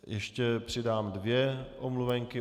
Ještě přidám dvě omluvenky.